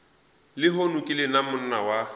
lehono ke lona monna wa